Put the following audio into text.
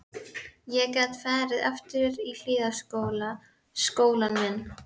Ég gat farið aftur í Hlíðaskóla, skólann minn.